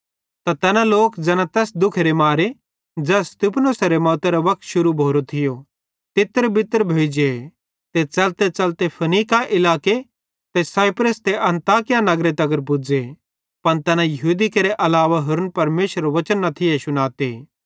त तैना लोक ज़ैना तैस दुखेरे मारे ज़ै स्तिफनुसेरे मौतरे वक्ते शुरू भोरो थियो तितरबितर भोइजेइ ते च़लतेच़लते फीनीके इलाके ते साइप्रस ते अन्ताकिया नगरे तगर पुज़े पन तैना यहूदी केरे अलावा होरन परमेशरेरू वचन न थिये शुनाते